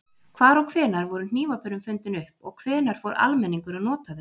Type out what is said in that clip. Hvar og hvenær voru hnífapörin fundin upp og hvenær fór almenningur að nota þau?